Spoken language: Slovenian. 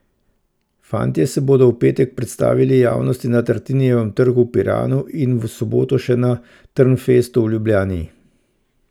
Fantje se bodo v petek predstavili javnosti na Tartinijevem trgu v Piranu in v soboto še na Trnfestu v Ljubljani.